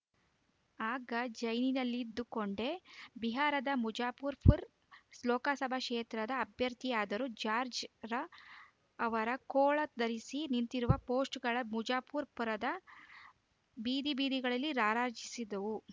ಆಗ ಜೈಲಿನಲ್ಲಿದ್ದುಕೊಂಡೇ ಬಿಹಾರದ ಮುಜಾಫುರ್‌ಪುರ ಲೋಕಸಭಾ ಕ್ಷೇತ್ರದ ಅಭ್ಯರ್ಥಿಯಾದರು ಜಾಜ್‌ರ್‍ ಅವರು ಕೋಳ ಧರಿಸಿ ನಿಂತಿರುವ ಪೋಸ್ಟರ್‌ಗಳು ಮುಜಾಫುರ್‌ಪುರದ ಬೀದಿಬೀದಿಗಳಲ್ಲಿ ರಾರಾಜಿಸಿದವು